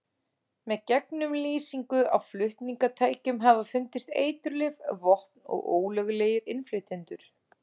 Með gegnumlýsingu á flutningatækjum hafa fundist eiturlyf, vopn og ólöglegir innflytjendur.